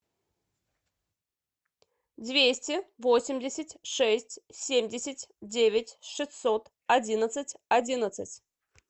двести восемьдесят шесть семьдесят девять шестьсот одиннадцать одиннадцать